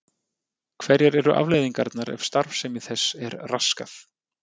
Hverjar eru afleiðingarnar ef starfsemi þess er raskað?